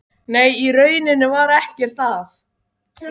Nei, í rauninni var ekkert að.